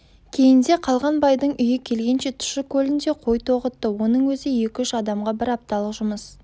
кейінде қалған байдың үйі келгенше тұщы көлінде қой тоғытты оның өзі екі-үш адамға бір апталық жұмыс